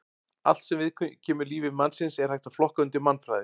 Allt sem viðkemur lífi mannsins er hægt að flokka undir mannfræði.